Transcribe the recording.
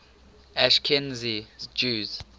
ashkenazi jews